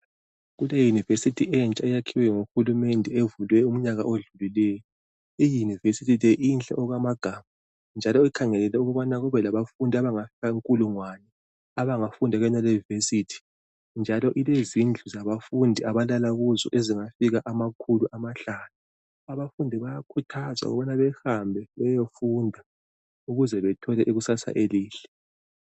Kule university entsha eyakhiwe nguhulumende evulwe umnyaka odlulileyo . I university le inhle okwamagama .Njalo ikhangelelwe ukubana kube labafundi abangafika inkulungwane abangafunda kuyonale i university .Njalo ilezindlu zabafundi abalala kuzo ezingafika amakhulu amahlanu .Abafundi bayakhuthazwa ukubana behambe beyefunda ukuze bethole ikusasa elihle .